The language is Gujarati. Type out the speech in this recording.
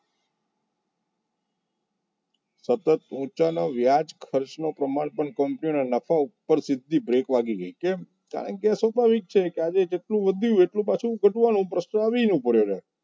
સતત ઊંચા ના વ્યાજ ખર્ચે પ્રમાણ પણ company ના નફો સિદ્ધિ break લાગી ગઈ કેમ કારણકે સ્વાભાવિક છે આજે જેટલું વધશે એટલું પાછું ઘટવાનું એ પ્રશ્ન આવીને ઊભો રહ્યો.